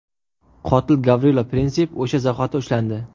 Qotil Gavrilo Prinsip o‘sha zahoti ushlandi.